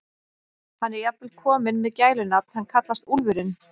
Hann er jafnvel kominn með gælunafn, hann kallast Úlfurinn.